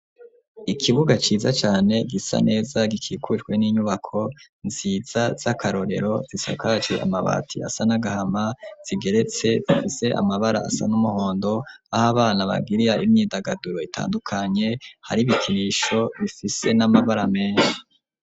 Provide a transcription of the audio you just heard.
Ikibuga ciza cane, gisa neza, gikikujwe n'inyubako nziza, z'akarorero, zisakaje amabati, asa n'agahama, zigeretse, zifise amabara, asa n'umuhondo, aho abana bagirira, imyindagaduro itandukanye; hari ibikinisho, bifise n'amabara, menshi.